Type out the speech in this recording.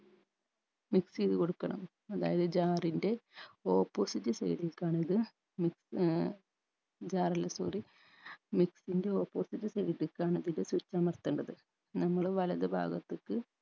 mix എയ്ത് കൊടുക്കണം അതായത് jar ൻറെ opposite side ലെക്കാണിത് മി ഏർ jar അല്ല sorry mixie ൻറെ opposite side ക്കാണ് ഇതിൻറെ switch അമർത്തണ്ടത് നമ്മള് വലത് ഭാഗത്തെക്ക്